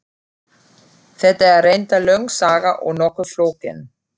Þetta er reyndar löng saga og nokkuð flókin.